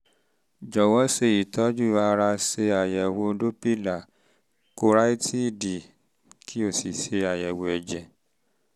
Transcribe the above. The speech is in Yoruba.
jọ̀wọ́ ṣe ìtọ́jú ara ṣe àyẹ̀wò dọ́pílà kárótíìdì kí o sì ṣe àyẹ̀wò ẹ̀jẹ̀